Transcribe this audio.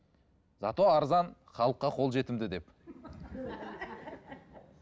за то арзан халыққа қол жетімді деп